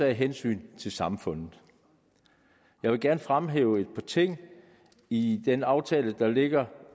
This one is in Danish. af hensyn til samfundet jeg vil gerne fremhæve et par ting i den aftale der ligger